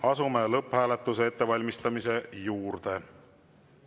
Asume lõpphääletuse ettevalmistamise juurde.